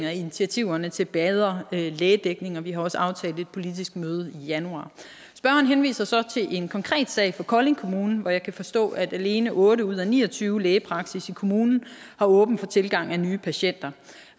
og initiativerne til bedre lægedækning og vi har også aftalt et politisk møde i januar spørgeren henviser så til en konkret sag fra kolding kommune hvor jeg kan forstå at alene otte ud af ni og tyve lægepraksis i kommunen har åbent for tilgang af nye patienter